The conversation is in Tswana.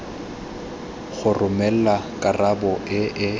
go romelwa karabo e e